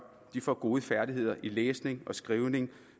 får gode færdigheder i læsning og skrivning